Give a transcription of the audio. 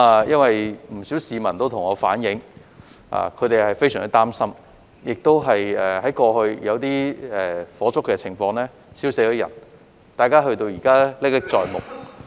不少市民也向我反映他們相當擔心，因為過去曾經發生火燭，亦有人被燒死了，大家至今仍然歷歷在目。